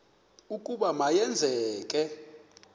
ukuba ma yenzeke